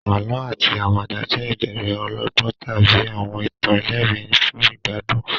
Àlọ́ àti àwàdà jẹ́ ìbéèrè ọlọ́gbọ́n tàbí àwọn ìtàn ẹlẹ́rìn-ín fún ìgbádùn.